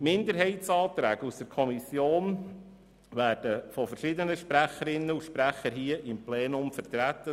Die Minderheitsanträge aus der Kommission werden von verschiedenen Sprecherinnen und Sprechern im Plenum vertreten.